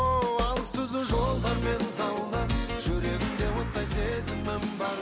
ооо алыс түзу жолдармен заула жүрегімде оттай сезімім